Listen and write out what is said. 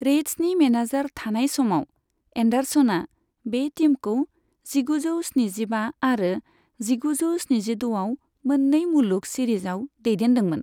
रेड्सनि manager थानाय समाव, एन्डारसनआ बे टीमखौ जिगुजौ स्निजिबा आरो जिगुजौ स्निजिद'आव मोननै मुलुग सिरिजआव दैदेन्दोंमोन।